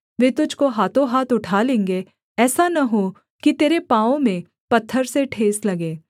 वे तुझको हाथों हाथ उठा लेंगे ऐसा न हो कि तेरे पाँवों में पत्थर से ठेस लगे